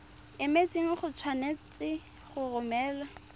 emetseng o tshwanetse go romela